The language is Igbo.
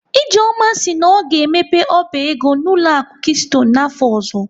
Ijeoma si na ọ ga-emepe ọba ego n'ụlọ akụ keystone afọ ọzọ m